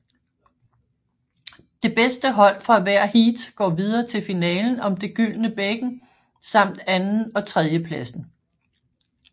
Det bedste hold fra hver heat går videre til finalen om det gyldne bækken samt anden og tredjepladsen